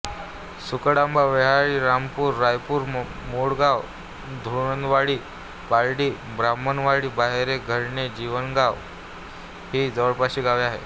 सुकडआंबा व्याहाळी रामपूर रायपूर मोडगाव धुंदळवाडी पारडी ब्राह्मणवाडी बहारे घाडणे जिनगाव ही जवळपासची गावे आहेत